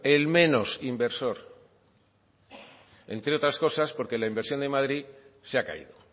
el menos inversor entre otras cosas porque la inversión de madrid se ha caído